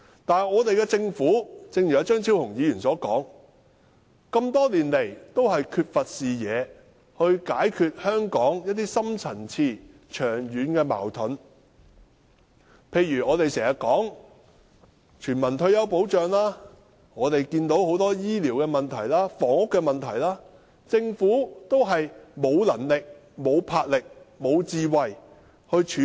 但是，正如張超雄議員所說，政府多年來缺乏視野去解決香港的深層次長遠矛盾，例如我們經常提出的全民退休保障及醫療和房屋的問題，政府也是沒有能力、沒有魄力、沒有智慧去處理。